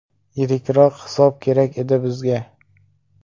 Yirikroq hisob kerak edi bizga.